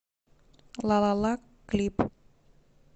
лалала клип